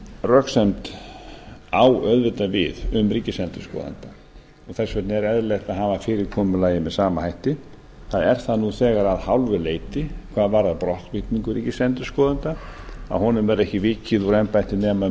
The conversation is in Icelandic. röksemd á auðvitað við um ríkisendurskoðanda og þess vegna er eðlilegt að hafa fyrirkomulagið með sama hætti það er það nú þegar að hálfu leyti hvað varðar brottvikningu ríkisendurskoðanda að honum verði ekki vikið úr embætti nema